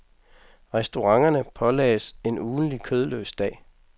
Restauranterne pålagdes en ugentlig kødløs dag.